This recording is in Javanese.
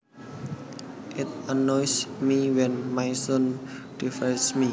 It annoys me when my son defies me